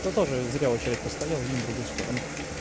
то тоже зря очередь постоял и в другую сторону